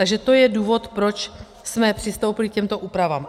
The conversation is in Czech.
Takže to je důvod, proč jsme přistoupili k těmto úpravám.